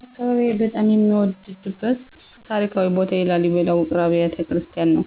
በአካባቢዬ በጣም የምወደድበት ታሪካዊ ቦታ የላሊበላ ውቅር አብያተ ክርስቲያናት ነው።